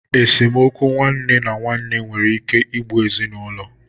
Esemokwu nwanne na nwanne nwere ike igbu ezinaulo.